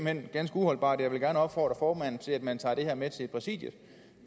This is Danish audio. hen ganske uholdbart og jeg vil gerne opfordre formanden til at man tager det her med til præsidiet